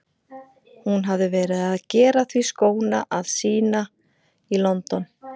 Hún hafði verið að gera því skóna að sýna í London.